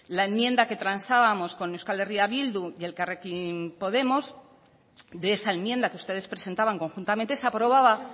la enmienda que transábamos con euskal herria bildu y elkarrekin podemos de esa enmienda que ustedes presentaban conjuntamente se aprobaba